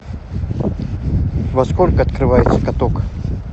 во сколько открывается каток